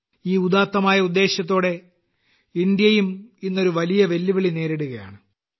ഈ ഉദാത്തമായ ഉദ്ദേശത്തോടെ ഇന്ത്യയും ഇന്ന് ഒരു വലിയ വെല്ലുവിളി നേരിടുകയാണ്